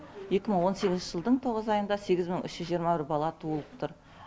екі мың он сегізінші жылдың тоғыз айында сегіз мың үш жүз жиырма бір бала туылып тұр